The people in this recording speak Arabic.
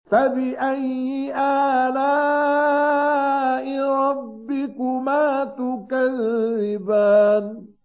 فَبِأَيِّ آلَاءِ رَبِّكُمَا تُكَذِّبَانِ